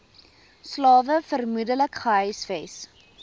slawe vermoedelik gehuisves